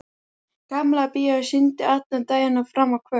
Gamla bíóið sýndi allan daginn og fram á kvöld.